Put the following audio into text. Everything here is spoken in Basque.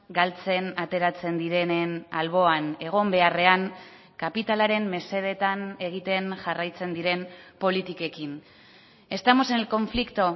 galtzen ateratzen direnen alboan egon beharrean kapitalaren mesedetan egiten jarraitzen diren politikekin estamos en el conflicto